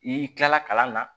I kilala kalan na